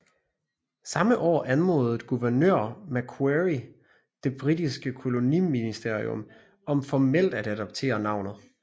Samme år anmodede guvernør Macquarie det britiske koloniministerium om formelt at adoptere navnet